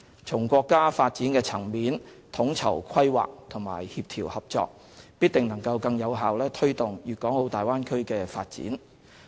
從國家發展層面統籌規劃和協調合作，必定能更有效推動粵港澳大灣區的發展。